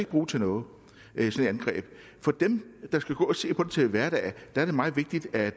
bruge til noget for dem der skal gå og se på det til hverdag er det meget vigtigt at